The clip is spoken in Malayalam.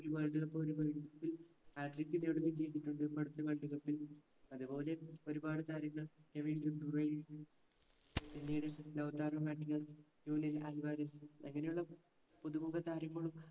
ഒരു world cup ഒരു hatric നേടുകയും ചെയ്തിട്ടുണ്ട് ഇപ്പടുത്ത world cup ൽ അതെ പോലെ ഒരുപാട് താരങ്ങൾ രവീന്ദ്രൻ ടുറൈ പിന്നീട് ലൗതാറും മക്നസ് ജൂലിയൻ അൽവാറീസ് അങ്ങനെയുള്ള പുതുമുഖ താരങ്ങളും